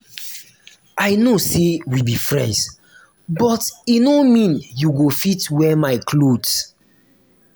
i know say we be friends but but e no mean you go fit wear my cloth